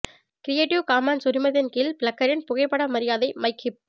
creative commons உரிமத்தின் கீழ் பிளிக்கரின் புகைப்பட மரியாதை மைக் ஹிப்